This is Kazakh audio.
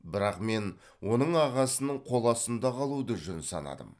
бірақ мен оның ағасының қол астында қалуды жөн санадым